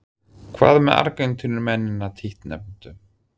Hvað með Argentínumennina títtnefndu?